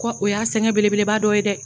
kɔ o y'a sɛgɛn bele beleba dɔ ye dɛ.